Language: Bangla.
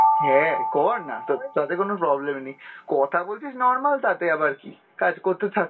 হ্যাঁ করনা তো তাতে কোনো problem নেই, কথা বলছিস normal তাতে আবার কী, কাজ করতে থাক।